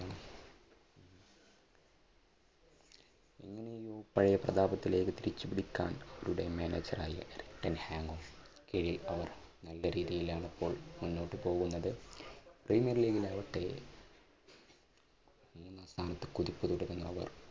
പഴയ പ്രതാപത്തിലേക്ക് തിരിച്ചുപിടിക്കാൻ അവരുടെ manager ആയ റിട്ടൺ ഹാങ്ങ് ഓഫ് കീഴിൽ അവർ നല്ല രീതിയിൽ ആണ് ഇപ്പോൾ മുന്നോട്ടുപോകുന്നത്. പ്രീമിയർ ലീഗിൽ ആകട്ടെ